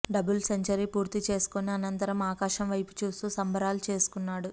double century పూర్తి చేసుకుని అనంతరం ఆకాశం వైపు చూస్తూ సంబరాలు చేసుకున్నాడు